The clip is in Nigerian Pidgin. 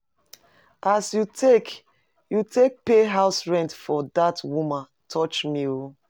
As you take you take pay house rent for dat woman touch me o.